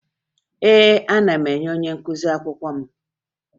Ee, ana m enye onye nkụzi akwụkwọ m